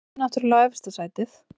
Maður stefnir náttúrlega á efsta sætið